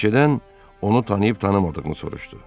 Planşetdən onu tanıyıb-tanımadığını soruşdu.